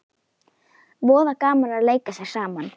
Voða gaman að leika sér saman